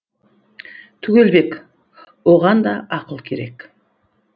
түгелбек оған да ақыл керек